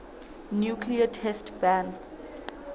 nuclear test ban